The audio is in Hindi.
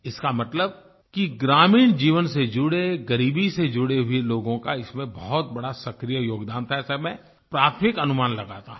इसका मतलब कि ग्रामीण जीवन से जुड़े गरीबी से जुड़े हुए लोगों का इसमें बहुत बड़ा सक्रिय योगदान था ऐसा मैं प्राथमिक अनुमान लगाता हूँ